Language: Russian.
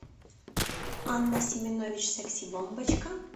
анна семенович секси бомбочка